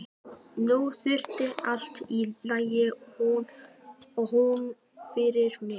Nú yrði allt í lagi og hún fyrirgæfi mér.